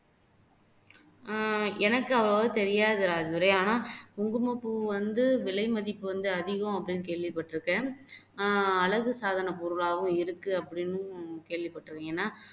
உம் எனக்கு அவ்வளவா தெரியாது ராஜதுரை ஆனா குங்குமப்பூ வந்து விலை மதிப்பு வந்து அதிகம் அப்படின்னு கேள்விபட்டு இருக்கேன் ஆஹ் அழகு சாதன பொருளாவும் இருக்கு அப்படின்னு கேள்விபட்டுருக்கேன் ஏன்னா